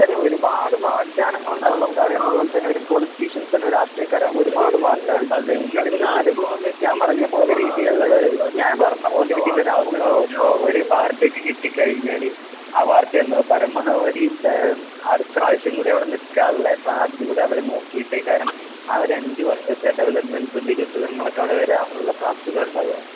അതാത് ഒരുപാട് വാഗ്ദാനങ്ങളുണ്ടാകും നമുക്ക് അതേപോലെതന്നെ ഒരേപോലെ പൊളിറ്റീഷ്യൻസും രാഷ്ട്രീയക്കാരാകുമ്പോൾ ഒരുപാട് വാഗ്ദാനങ്ങളുണ്ടാകും എന്നിരുന്നാലും ഞാൻ പറയുന്നപോലെ രീതിയിലുള്ള ഞാൻ പറയുന്നപോലെ ഒരവസരമു ണ്ടായാൽ ഒരു പാർട്ടിക്ക് കിട്ടിക്കഴിഞ്ഞാല് ആ പാർട്ടിയത് പരമാവധി താ അടുത്ത പ്രാവശ്യംകൂടി അവിടെ നിക്കാനുള്ള സാധ്യത കൂടിയവര് നോക്കിയിട്ടേ കാരണം ആഹ് ഒരഞ്ചുവർഷത്തെ ഡെവലപ്മെൻറ്സും വികസിതങ്ങളൊക്കെ അവിടെ വരാനുള്ള സാധ്യതകളുണ്ടാവുക